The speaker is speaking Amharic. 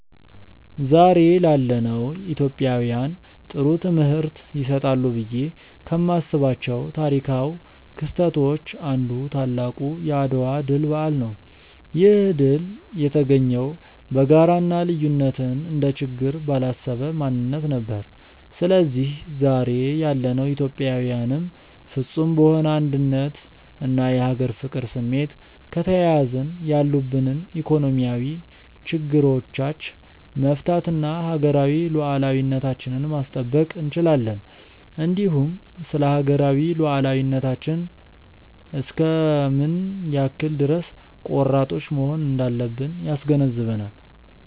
ዛሬ ላለነው ኢትዮጵያውያን ጥሩ ትምህርት ይሰጣሉ ብዬ ከማስባቸው ታሪካው ክስተቶች አንዱ ታላቁ የአድዋ ድል በዓል ነው። ይህ ድል የተገኘው በጋራ እና ልዩነትን እንደ ችግር ባላሰበ ማንነት ነበር። ስለዚህ ዛሬ ያለነው ኢትዮጵያዊያንም ፍፁም በሆነ አንድነት እና የሀገር ፍቅር ስሜት ከተያያዝን ያሉብንን ኢኮኖሚያዊ ችግሮቻች መፍታት እና ሀገራዊ ሉዓላዊነታችንን ማስጠበቅ እንችላለን። እንዲሁም ስለሀገራዊ ሉዓላዊነታችን እስከ ምን ያክል ድረስ ቆራጦች መሆን እንዳለብን ያስገነዝበናል።